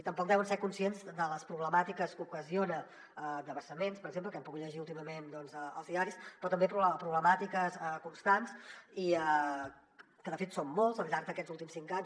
tampoc deuen ser conscients de les problemàtiques que ocasiona de vessaments per exemple que hem pogut llegir últimament als diaris però també problemàtiques constants que de fet són moltes al llarg d’aquests últims cinc anys